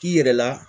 K'i yɛrɛ la